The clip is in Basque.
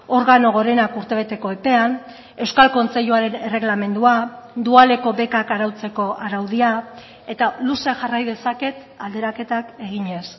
organo gorenak urtebeteko epean euskal kontseiluaren erregelamendua dualeko bekak arautzeko araudia eta luze jarrai dezaket alderaketak eginez